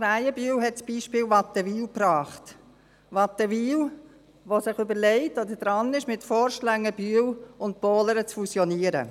Krähenbühl hat das Beispiel Wattenwil gebracht, Wattenwil, das sich überlegt oder daran ist, mit Forst-Längenbühl und Pohlern zu fusionieren.